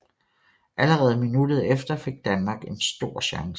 Allerede minuttet efter fik Danmark en stor chance